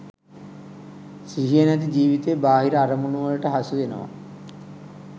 සිහිය නැති ජීවිතේ බාහිර අරමුණුවලට හසුවෙනවා.